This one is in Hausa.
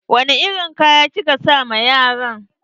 Wani irin kaya kika sa ma yaran?